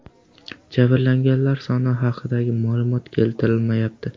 Jabrlanganlar soni haqidagi ma’lumot keltirilmayapti.